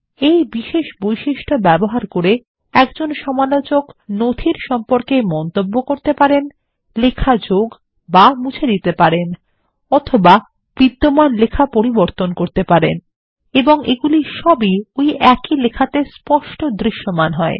এই বিশেষ বৈশিষ্ট্য ব্যবহার করে একজন সমালোচক নথির সম্পর্কে মন্তব্য করতে পারেন লেখা যোগবা মুছে দিতে পারেন বা বিদ্যমান লেখা পরিবর্তন করতে পারেন এবং এগুলি সবই ওই একই লেখাতে স্পষ্ট দৃশ্যমান হয়